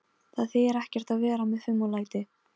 Það þýðir ekkert að vera með fum og læti.